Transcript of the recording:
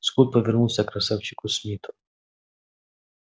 скотт повернулся к красавчику смиту